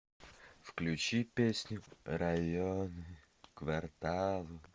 включи песню районы кварталы